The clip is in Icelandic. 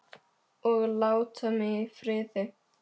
OG LÁTA MIG Í FRIÐI!